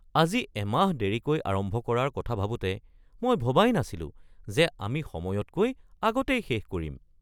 আমি এমাহ দেৰিকৈ আৰম্ভ কৰাৰ কথা ভাবোঁতে মই ভবাই নাছিলোঁ যে আমি সময়তকৈ আগতেই শেষ কৰিম।